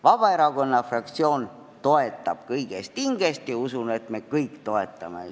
Vabaerakonna fraktsioon toetab kõigest hingest ja usun, et me kõik toetame.